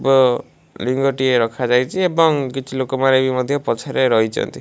ଟିଏ ରଖା ଯାଇଛି ଏବଂ କିଛି ଲୋକମାନେ ବି ମଧ୍ୟ ପଛରେ ରହିଛନ୍ତି।